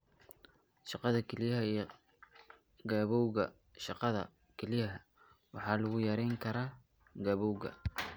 Shaqada kelyaha iyo gabowga Shaqada kelyaha waxaa lagu yarayn karaa gabowga.